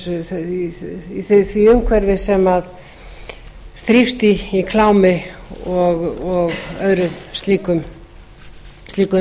börn notuð í því umhverfi sem þrífst í klámi og öðru slíku